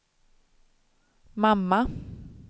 mamma